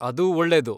ಅದು ಒಳ್ಳೇದು.